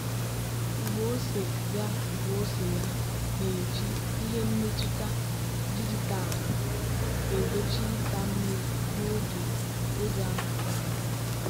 ugbo ose ya ugbo ose ya na-eji ihe mmetụta dijitalụ egbochi ịta mmiri n'oge oge harmattan.